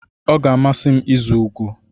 Ọ ga-amasị m ịzu ugo.